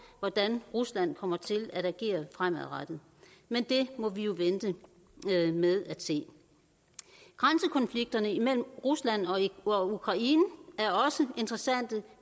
hvordan rusland kommer til at agere fremadrettet men det må vi jo vente med at se grænsekonflikterne imellem rusland og ukraine er også interessante